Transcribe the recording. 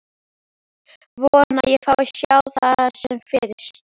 Vona að ég fái að sjá það sem fyrst.